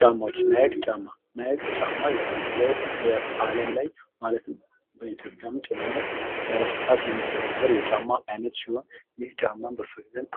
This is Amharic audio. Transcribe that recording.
ጫማዎችና ጫማዬ ናይክ ጫማ የምንለው ዓለም ላይ ማለትም በኢትዮጵያም ጭምር በስፋት የሚዘወትር የጫማ አይነት